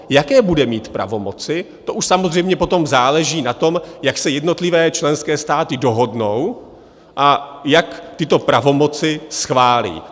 Jaké bude mít pravomoci, to už samozřejmě potom záleží na tom, jak se jednotlivé členské státy dohodnou a jak tyto pravomoci schválí.